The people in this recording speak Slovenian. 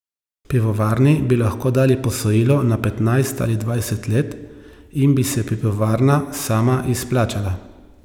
Pivovarni bi lahko dali posojilo na petnajst ali dvajset let in bi se pivovarna sama izplačala.